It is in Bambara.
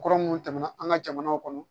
Kɔrɔ minnu tɛmɛna an ka jamana kɔnɔ